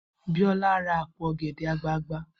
Biola ra àpò ọ̀gẹ̀dẹ̀ àgbagbà